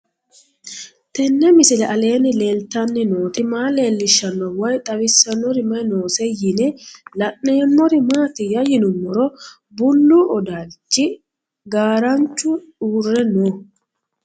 Tenni misile aleenni leelittanni nootti maa leelishshanno woy xawisannori may noosse yinne la'neemmori maattiya yinummoro bullu odalichi garaanchu uure noo